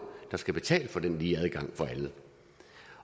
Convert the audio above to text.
der skal betale for den lige adgang for alle